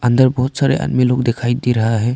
अंदर बहुत सारे आदमी लोग दिखाई दे रहा है।